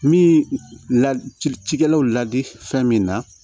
Min la ci ci cikɛlaw la di fɛn min na